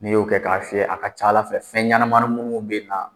Ni y'o kɛ k'a fiyɛ a ka c'Ala fɛ fɛn ɲanamanin munnu bɛ na